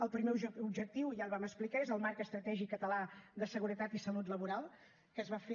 el primer objectiu ja el vam explicar és el marc estratègic català de seguretat i salut laboral que es va fer